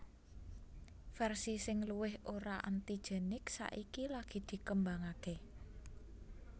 Versi sing luwih ora antigenik saiki lagi dikembangake